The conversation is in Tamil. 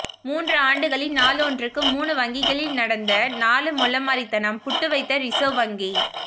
மூன்று ஆண்டுகளில் நாளொன்றுக்கு மூணு வங்கிகளில் நடந்த நாலு மொள்ளமாரித்தனம் புட்டு வைத்த ரிசர்வ் வங்கி